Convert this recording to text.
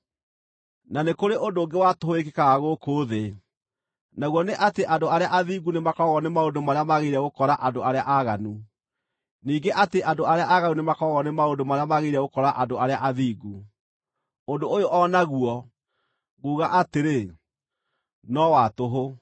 Na nĩ kũrĩ ũndũ ũngĩ wa tũhũ wĩkĩkaga gũkũ thĩ: naguo nĩ atĩ andũ arĩa athingu nĩmakoragwo nĩ maũndũ marĩa magĩrĩire gũkora andũ arĩa aaganu, ningĩ atĩ andũ arĩa aaganu nĩmakoragwo nĩ maũndũ marĩa magĩrĩire gũkora andũ arĩa athingu. Ũndũ ũyũ o naguo, nguga atĩrĩ, no wa tũhũ.